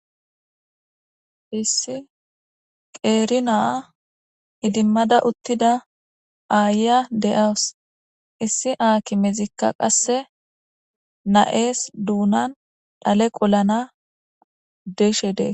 issi qeerina idimmada uttida aaya de7awus issi aakimezikka qasse na7ees duunan dhale qollana deshe dee